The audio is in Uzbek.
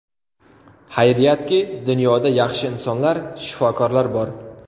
Xayriyatki, dunyoda yaxshi insonlar, shifokorlar bor.